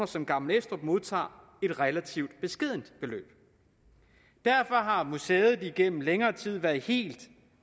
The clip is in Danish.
som gammel estrup modtager et relativt beskedent beløb derfor har museet igennem længere tid været helt